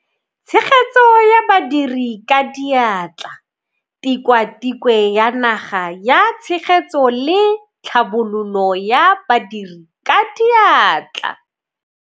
Tshegetso ya Badiri ka Diatla, Tikwatikwe ya Naga ya Tshegetso le Tlhabololo ya Badiri ka Diatla.